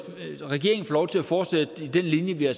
regeringen får lov til at fortsætte den linje vi har